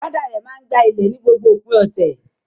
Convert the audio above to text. Father rẹ̀ máa ń gba ilé ni gbogbo òpin ọ̀sẹ̀.